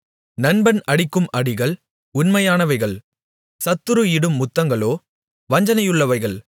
நண்பன் அடிக்கும் அடிகள் உண்மையானவைகள் சத்துரு இடும் முத்தங்களோ வஞ்சனையுள்ளவைகள்